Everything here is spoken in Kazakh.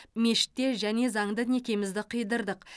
мешітте және заңды некемізді қидырдық